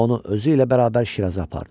Onu özü ilə bərabər Şiraza apardı.